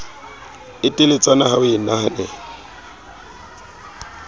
e teletsana ho e henahena